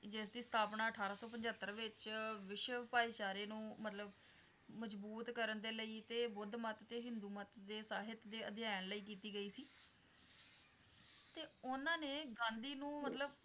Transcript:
ਜਿਸਦੀ ਸਥਾਪਨਾ ਅਠਾਰਾਂ ਸੌ ਪਚੱਤਰ ਵਿੱਚ ਵਿਸ਼ਵ ਭਾਈਚਾਰੇ ਨੂੰ ਮਤਲੱਬ ਮਜਬੂਤ ਕਰਨ ਦੇ ਲਈ ਤੇ ਬੁੱਧਮਤ ਤੇ ਹਿੰਦੂਮਤ ਦੇ ਸਾਹਿਤ ਦੇ ਅਧਿਆਨ ਲਈ ਕੀਤੀ ਗਈ ਸੀ ਤੇ ਉਹਨਾਂ ਨੇ ਗਾਂਧੀ ਨੂੰ ਮਤਲੱਬ